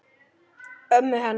Ömmu hennar.